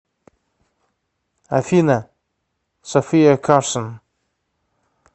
афина софия карсон